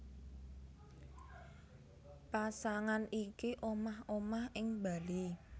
Pasangan iki omah omah ing Bali